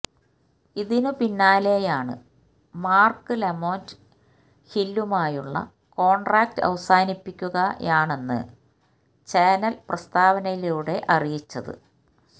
ഇതിന് പിന്നാലെയാണ് Mark Lamont ഹില്ലുമായുള്ള കോണ്ട്രാക്ട് അവസാനിപ്പിക്കുകയാണെന്ന് ചാനല് പ്രസ്താവനയിലൂടെ അറിയിച്ചത്